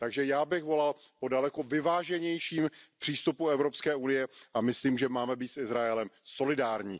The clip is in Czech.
Takže já bych volal po daleko vyváženějším přístupu Evropské unie a myslím, že máme být s Izraelem solidární.